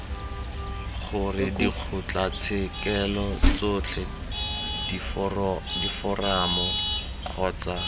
gore dikgotlatshekelo tsotlhe diforamo kgotsa